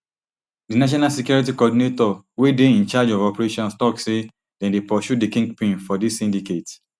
di national security coordinator wey dey in charge of operations tok say dem dey pursue di kingpin for dis syndicate